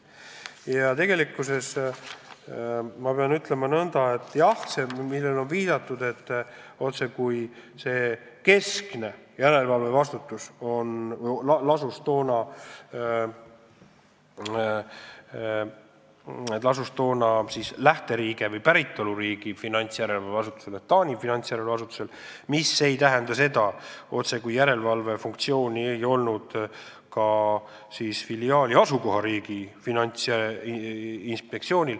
Ja ma pean ütlema nõnda, et see, millele on viidatud – et otsekui keskne järelevalvevastutus lasus lähteriigi või päritoluriigi finantsjärelevalve asutusel ehk siis Taani finantsjärelevalve asutusel –, ei tähenda seda, et filiaali asukohariigi finantsinspektsioonil järelevalve funktsiooni ei ole.